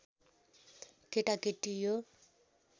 केटाकेटी यो